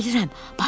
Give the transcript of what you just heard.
Mən bilirəm.